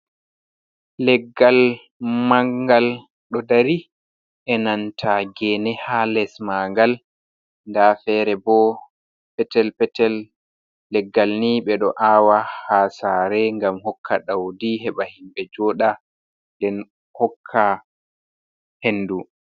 Leggal mangal ɗo dari, e nanta geene ha les ma ngal, nda fere bo petel petel. Leggal ni ɓe ɗo aawa ha saare ngam hokka ɗaudi heɓa himɓe jooɗa den hokka hendu.